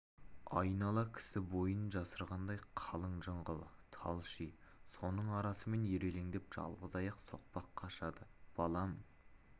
айнала кісі бойын жасырғандай қалың жыңғыл тал ши соның арасымен ирелендеп жалғыз аяқ соқпақ қашады балам